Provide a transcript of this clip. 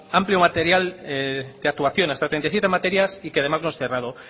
amplio material de actuación hasta treinta y siete materias y que además no es cerrado